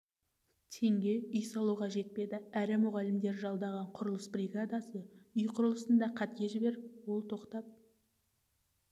теңге үй салуға жетпеді әрі мұғалімдер жалдаған құрылыс бригадасы үй құрылысында қате жіберіп ол тоқтап